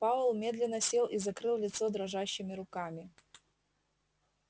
пауэлл медленно сел и закрыл лицо дрожащими руками